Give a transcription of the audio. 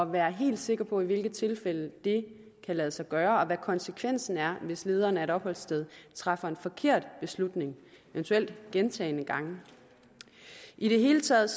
være helt sikker på i hvilke tilfælde det kan lade sig gøre og hvad konsekvensen er hvis lederen af et opholdssted træffer en forkert beslutning eventuelt gentagne gange i det hele taget